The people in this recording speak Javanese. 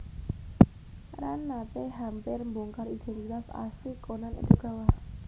Ran nate hampir mbongkar identitas asli Conan Edogawa